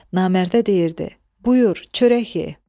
Namərdə deyirdi: Buyur, çörək ye.